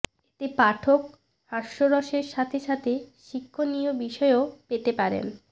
এতে পাঠক হাস্যরসের সাথে সাথে শিক্ষণীয় বিষয়ও পেতে পারেন